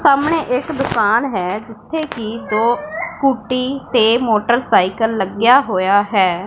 ਸਾਹਮਣੇ ਇੱਕ ਦੁਕਾਨ ਹੈ ਜਿੱਥੇ ਕਿ ਦੋ ਸਕੂਟੀ ਤੇ ਮੋਟਰਸਾਈਕਲ ਲੱਗਿਆ ਹੋਇਆ ਹੈ।